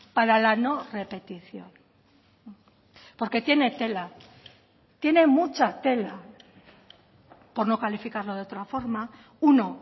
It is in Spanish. para la no repetición porque tiene tela tiene mucha tela por no calificarlo de otra forma uno